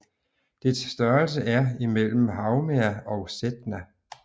Dets størrelse er imellem Haumea og Sedna